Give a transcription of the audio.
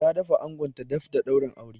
Ta da fa angonta daf da daurin auren.